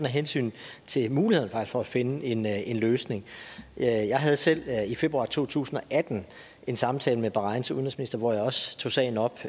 af hensyn til mulighederne for at finde en en løsning jeg havde selv i februar to tusind og atten en samtale med bahrains udenrigsminister hvor jeg også tog sagen op